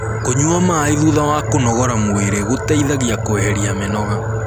kũnyua maĩ thutha wa kũnogora mwĩrĩ gũteithagia kueherĩa mĩnoga